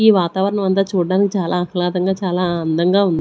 ఈ వాతావరణం అంతా చూడ్డనికి చాలా ఆహ్లాదంగా చాలా అందంగా ఉం--